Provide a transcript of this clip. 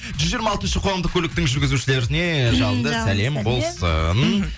жүз жиырма алтыншы қоғамдық көліктің жүзгізушілеріне жалынды сәлем болсын